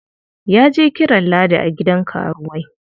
Ya je kiran Ladi a gidan karuwai.